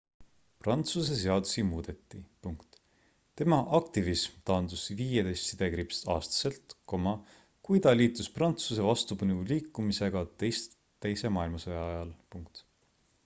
prantsuse seadusi muudeti tema aktivism taandus 15-aastaselt kui ta liitus prantsuse vastupanuliikumisega teise maailmasõja ajal